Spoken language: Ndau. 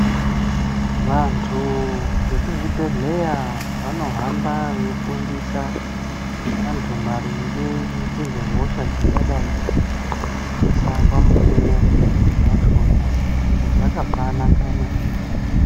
Vantu vekuzvibhehleya vanohamba veifundisa vantu maringe ngezvehosha dzingadai dzeinesa pamukuwo wachona. Izvi zvakabanaka maningi.